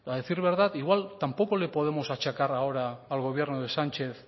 decir verdad igual tampoco le podemos achacar ahora al gobierno de sánchez